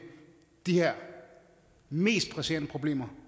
de her mest presserende problemer